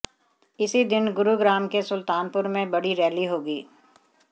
इसी दिन गुरुग्राम के सुल्तानपुर में बड़ी रैली होगी